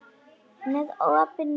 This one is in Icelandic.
Með opinn munn.